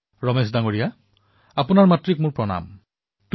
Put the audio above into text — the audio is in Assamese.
ৰমেশ জী আপোনাৰ মাতৃক মোৰ প্ৰণাম জনাইছো